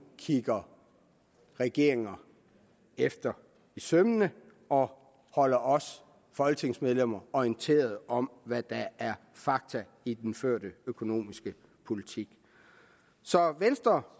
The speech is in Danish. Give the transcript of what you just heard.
kigger regeringer efter i sømmene og holder os folketingsmedlemmer orienteret om hvad der er fakta i den førte økonomiske politik så venstre